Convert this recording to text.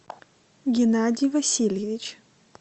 геннадий васильевич